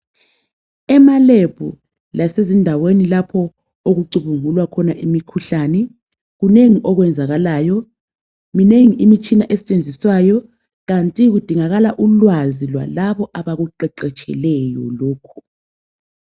Ema lab lasezindaweni lapho okucubungulwa khona imikhuhlane kunengi okwenzakalayo minengi imitshina esetshenziswayo kanti kudingakala ulwazi lwalabo abakuqeqetsheleyo lokho.